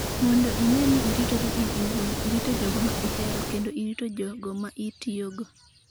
Mondo ine ni iritori in iwuon, irito jogo ma ihero, kendo irito jogo ma itiyogo''.